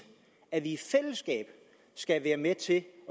at vi i fællesskab skal være med til at